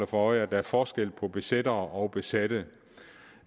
for øje at der er forskel på besættere og besatte